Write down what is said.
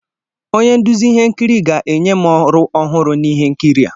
Onye nduzi ihe nkiri ga-enye m ọrụ ọhụrụ n'ihe nkiri a.